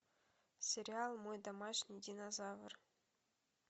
сериал мой домашний динозавр